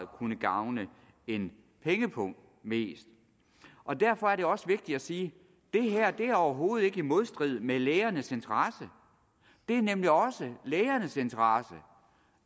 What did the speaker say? kunne gavne en pengepung mest og derfor er det også vigtigt at sige det her er overhovedet ikke i modstrid med lægernes interesse det er nemlig også lægernes interesse